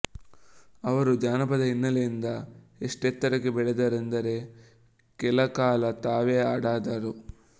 ಅವರು ಜಾನಪದ ಹಿನ್ನೆಲೆಯಿಂದ ಎಷ್ಟೆತ್ತರಕ್ಕೆ ಬೆಳೆದರೆಂದರೆ ಕೆಲಕಾಲ ತಾವೇ ಅದಾದರು